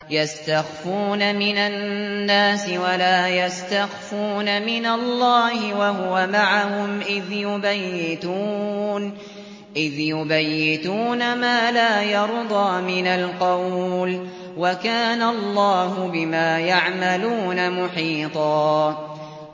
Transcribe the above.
يَسْتَخْفُونَ مِنَ النَّاسِ وَلَا يَسْتَخْفُونَ مِنَ اللَّهِ وَهُوَ مَعَهُمْ إِذْ يُبَيِّتُونَ مَا لَا يَرْضَىٰ مِنَ الْقَوْلِ ۚ وَكَانَ اللَّهُ بِمَا يَعْمَلُونَ مُحِيطًا